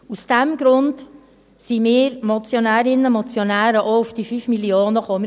Aus diesem Grund sind wir Motionärinnen und Motionäre auch auf diese 5 Mio. Franken gekommen.